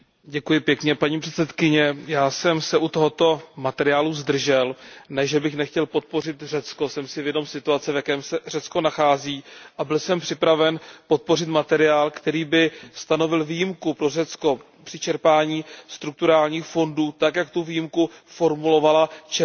Paní předsedající, já jsem se u tohoto materiálu zdržel, ne že bych nechtěl podpořit Řecko. Jsem si vědom situace, v jaké se Řecko nachází, a byl jsem připraven podpořit materiál, který by stanovil výjimku pro Řecko při čerpání strukturálních fondů tak, jak tu výjimku formulovala červencová